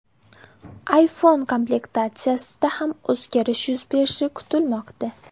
iPhone komplektatsiyasida ham o‘zgarish yuz berishi kutilmoqda.